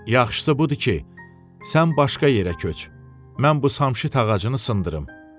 Yaxşısı budur ki, sən başqa yerə köç, mən bu samşit ağacını sındırım.